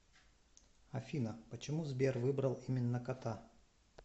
афина почему сбер выбрал именно кота